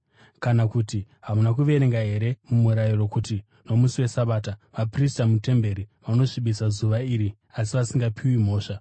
Kana kuti hamuna kuverenga here muMurayiro kuti nomusi weSabata vaprista mutemberi vanosvibisa zuva iri asi vasingapiwi mhosva?